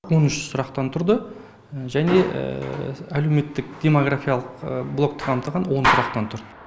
он үш сұрақтан тұрды және әлеуметтік демографиялық блокті қамтыған он сұрақтан тұрды